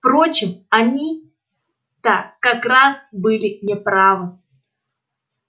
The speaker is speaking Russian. впрочем они-то как раз были не правы